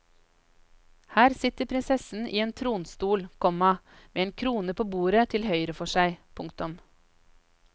Her sitter prinsessen i en tronstol, komma med en krone på bordet til høyre for seg. punktum